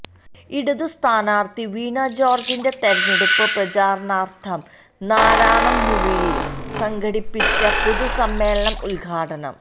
ഇടതു സ്ഥാനാർഥി വീണ ജോർജിൻെറ തെരഞ്ഞെടുപ്പ് പ്രചാരണാർഥം നാറാണംമൂഴിയിൽ സംഘടിപ്പിച്ച പൊതുസമ്മേളനം ഉദ്ഘാടനം